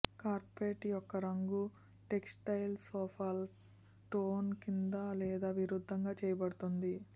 carpet యొక్క రంగు textile సొఫాల టోన్ కింద లేదా విరుద్ధంగా చేయబడుతుంది